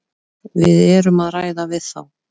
Við erum að ræða við þá.